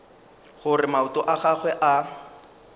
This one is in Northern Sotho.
gore maoto a gagwe a